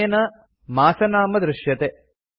अनेन मासनाम दृश्यते